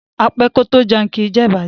A pé kò to jẹun, ki jé ìbàjẹ́.